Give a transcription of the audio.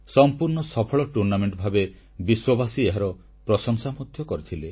ସମ୍ପୂର୍ଣ୍ଣ ସଫଳ ଟୁର୍ଣ୍ଣାମେଣ୍ଟ ଭାବେ ବିଶ୍ୱବାସୀ ଏହାର ପ୍ରଶଂସା ମଧ୍ୟ କରିଥିଲେ